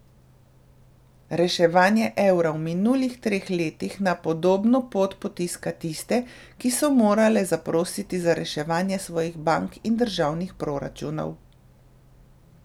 Reševanje evra v minulih treh letih na podobno pot potiska tiste, ki so morale zaprositi za reševanje svojih bank in državnih proračunov.